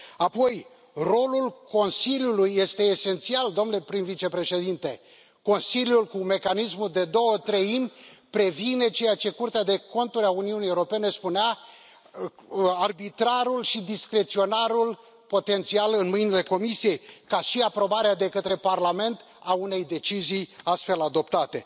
Apoi, rolul Consiliului este esențial, domnule prim vicepreședinte, Consiliul cu mecanismul de două treimi previne ceea ce Curtea de Conturi a Uniunii Europene spunea arbitrarul și discreționarul potențial în mâinile Comisiei, ca și aprobarea de către Parlament a unei decizii astfel adoptate.